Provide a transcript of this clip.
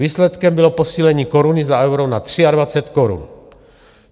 Výsledkem bylo posílení koruny za euro na 23 korun.